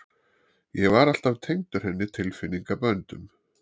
Ég var alltaf tengdur henni tilfinningaböndum.